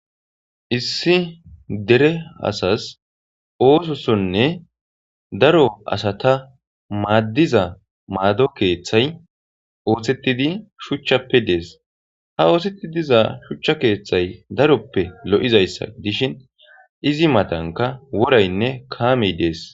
Issi dere asas oothosonne daro asata madiza maado keethay oothetidi shuchappe dees. Ha ooseti diza shuchan keethay daroppe lo'izaysi gidishin izi matanka woraynne kaamey dees.